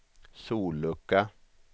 sollucka